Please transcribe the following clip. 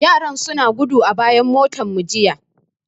Yaran suna gudu a bayan motarmu jiya.